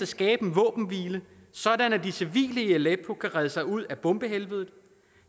skabe en våbenhvile sådan at de civile i aleppo kan redde sig ud af bombehelvedet